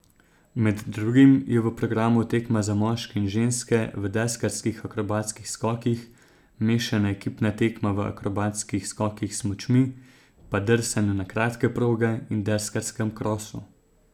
Med drugim je v programu tekma za moške in ženske v deskarskih akrobatskih skokih, mešana ekipna tekma v akrobatskih skokih s smučmi, pa drsanju na kratke proge in deskarskem krosu.